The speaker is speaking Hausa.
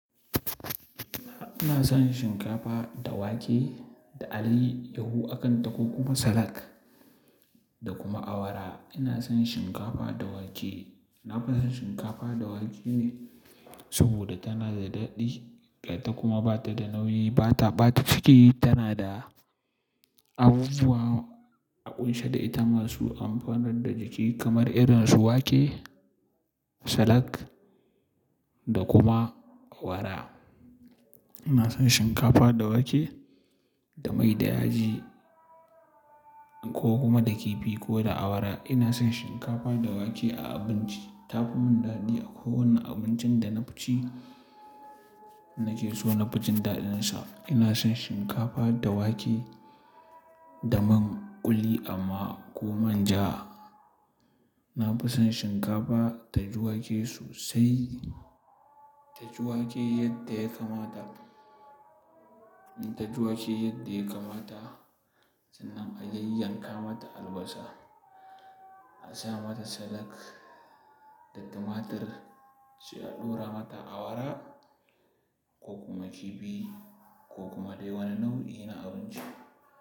Ina son shinkafa da wake da alayyahu akan ta ko kuma salad da kuma awara. Ina son shinkafa da wake. Nafi son shinkafa da wake ne sabida tana da daɗi gata kuma ba ta da nauyi, ba ta ɓata ciki, tana da abubuwa a ƙunshe da ita masu amfanar da jiki kamar irin su wake, salak da kuma awara. Ina son shinkafa da wake da mai da yaji ko kuma da kifi ko da awara. Ina son shinkafa da wake a abinci. Ta fi mun daɗi a kowanne abincin da nafi ci nake so nafi ji daɗinsa. Ina son shinkafa da wake da man ƙuli amma ko manja. Ina son shinkafa da wake da alayyahu akan ta ko kuma salad taji wake yadda ya kamata sannan a yayyanka mata albasa, a sa mata salad da tumatur sai a ɗora mata awara. Ko kuma kifi ko kuma dai wani nau'i na abinci.